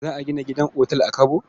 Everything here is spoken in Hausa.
Za a gina otal a Kabo?